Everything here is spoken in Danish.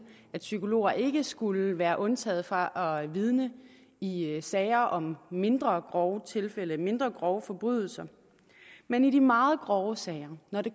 at psykologer ikke skulle være undtaget fra at vidne i i sager om mindre grove tilfælde mindre grove forbrydelser men i de meget grove sager når det